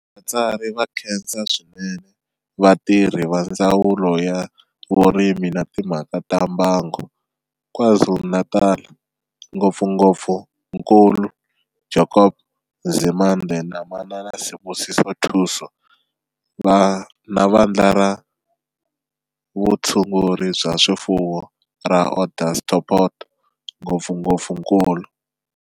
Vatsari va khensa swinene vatirhi va Ndzawulo ya Vurimi na Timhaka ta Mbango, KwaZulu-Natal, ngopfungopfu Nkul. Jacob Nzimande na Manana Sibusiso Thusi, na Vandla ra Vutshunguri bya swifuwo ra Onderstepoort, ngopfungopfu Nkul.